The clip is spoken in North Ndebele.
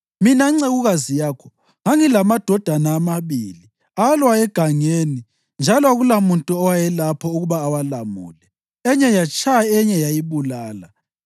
Mina ncekukazi yakho ngangilamadodana amabili. Alwa egangeni njalo akulamuntu owayelapho ukuba awalamule. Enye yatshaya enye yayibulala.